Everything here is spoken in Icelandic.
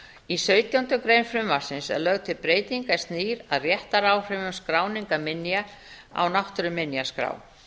í sautjándu grein frumvarpsins er lögð til breyting er snýr að réttaráhrifum skráningar minja á náttúruminjaskrá